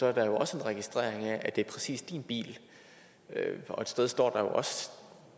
er der jo også en registrering af at det præcis er din bil og et sted står